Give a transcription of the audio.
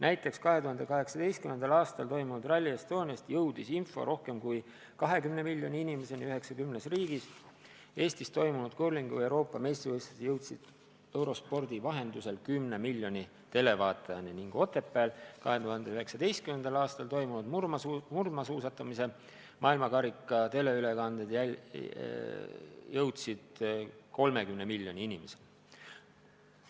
Näiteks 2018. aastal toimunud Rally Estoniast jõudis info rohkem kui 20 miljoni inimeseni 90 riigis, Eestis peetud kurlingu Euroopa meistrivõistlused jõudsid Eurospordi vahendusel 10 miljoni televaatajani ning Otepääl 2019. aastal toimunud murdmaasuusatamise maailma karika etapi teleülekanded jõudsid 30 miljoni inimeseni.